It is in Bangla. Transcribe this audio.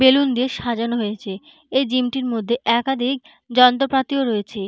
বেলুন দিয়ে সাজানো হয়েছে । এই জিম -টির মধ্যে একাধিক যন্ত্রপাতি রয়েছে।